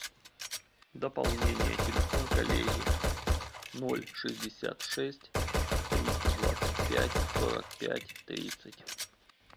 дополнение телефон коллеги ноль шестьдесят шесть триста двадцать пять сорок пять тридцать